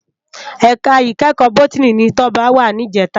Èká ikèékò bòtìní ni Toba wá nijètá